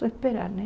Só esperar, né?